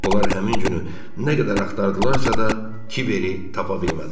Onlar həmin günü nə qədər axtardılarsa da Kiveri tapa bilmədilər.